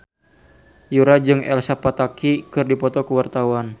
Yura jeung Elsa Pataky keur dipoto ku wartawan